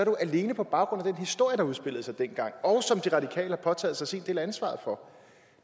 jo alene på baggrund historie der udspillede sig dengang og som de radikale har påtaget sig sin del af ansvaret for